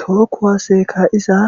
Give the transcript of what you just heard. tookku waase kaiza